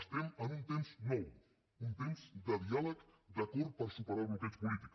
estem en un temps nou un temps de diàleg d’acord per superar el bloqueig polític